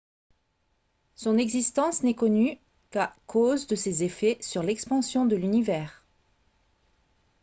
son existence n'est connue qu'à cause de ses effets sur l'expansion de l'univers